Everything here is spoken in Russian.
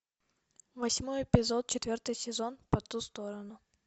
восьмой эпизод четвертый сезон по ту сторону